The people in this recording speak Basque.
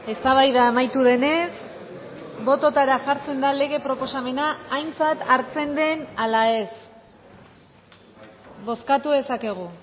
eztabaida amaitu denez bototara jartzen da lege proposamena aintzat hartzen den ala ez bozkatu dezakegu